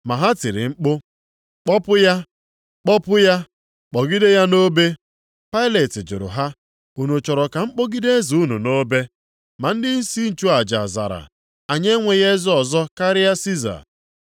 Ma ha tiri mkpu, “Kpọpụ ya, Kpọpụ ya! Kpọgide ya nʼobe.” Pailet jụrụ ha, “Unu chọrọ ka m kpọgide eze unu nʼobe?” Ma ndịisi nchụaja zara, “Anyị enweghị eze ọzọ karịa Siza.”